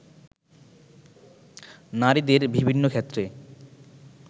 নারীদের বিভিন্ন ক্ষেত্রে